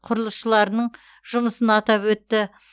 құрылысшыларының жұмысын атап өтті